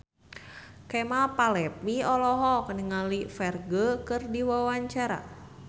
Kemal Palevi olohok ningali Ferdge keur diwawancara